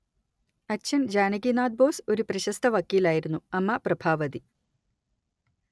അച്ഛൻ ജാനകിനാഥ് ബോസ് ഒരു പ്രശസ്ത വക്കീലായിരുന്നു അമ്മ പ്രഭാവതി